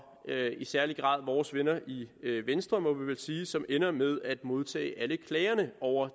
i særlig grad vores venner i venstre må man vel sige som endte med at modtage alle klagerne over